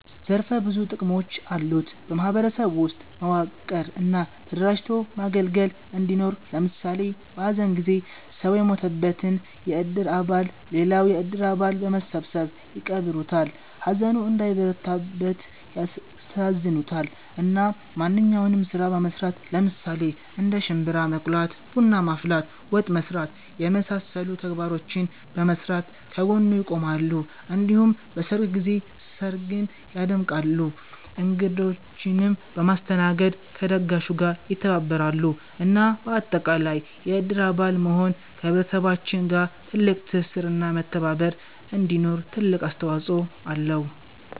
ዘርፈ ብዙ ጥቅሞች አሉት በ ማህበረሰብ ውስጥ መዋቀር እና ተደራጅቶ ማገልገል እንዲኖር ለምሳሌ በ ሀዘን ጊዜ ሰው የሞተበትን የእድር አባል ሌላው የእድር አባል በመሰባሰብ ይቀብሩለታል፣ ሀዘኑ እንዳይበረታበት ያስተሳዝናሉ፣ እና ማንኛውንም ስራ በመስራት ለምሳሌ እንደ ሽንብራ መቁላት፣ ቡና ማፍላት፣ ወጥ መስራት የመሳሰሉ ተግባራቶችን በመስራት ከ ጎኑ ይቆማሉ እንዲሁም በሰርግ ጊዜ ስርግን ያደምቃሉ እንግዶቺንም በማስተናገድ ከ ደጋሹ ጋር ይተባበራሉ እና በአጠቃላይ የእድር አባል መሆን ከ ህብረተሰባችን ጋር ትልቅ ትስስር እና መተባባር እንዲኖር ትልቅ አስተዋፅኦ አለው